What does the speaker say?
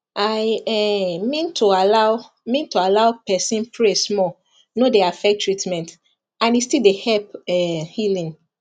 i um mean to allow mean to allow person pray small no dey affect treatment and e still dey help um healing